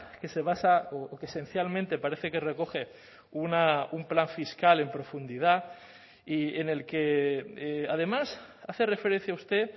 que se basa o que esencialmente parece que recoge un plan fiscal en profundidad y en el que además hace referencia usted